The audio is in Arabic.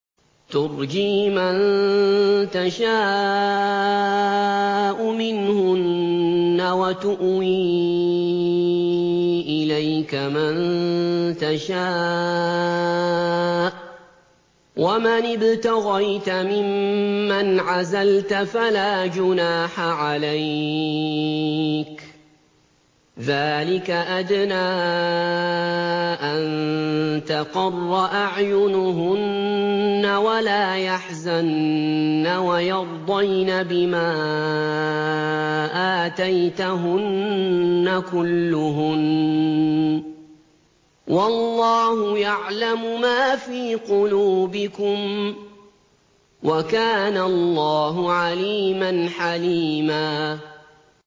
۞ تُرْجِي مَن تَشَاءُ مِنْهُنَّ وَتُؤْوِي إِلَيْكَ مَن تَشَاءُ ۖ وَمَنِ ابْتَغَيْتَ مِمَّنْ عَزَلْتَ فَلَا جُنَاحَ عَلَيْكَ ۚ ذَٰلِكَ أَدْنَىٰ أَن تَقَرَّ أَعْيُنُهُنَّ وَلَا يَحْزَنَّ وَيَرْضَيْنَ بِمَا آتَيْتَهُنَّ كُلُّهُنَّ ۚ وَاللَّهُ يَعْلَمُ مَا فِي قُلُوبِكُمْ ۚ وَكَانَ اللَّهُ عَلِيمًا حَلِيمًا